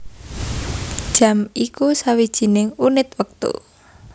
Jam iku sawijining unit wektu